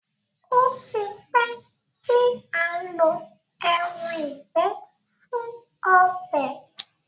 O tí pé tí a ǹ ló èràn ìgbẹ fun ọbẹ.